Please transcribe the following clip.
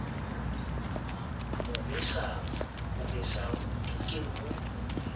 o besang o tuke ho